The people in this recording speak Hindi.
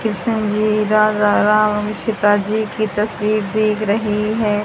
कृष्ण जी रा राम सीता जी की तस्वीर दिख रही है।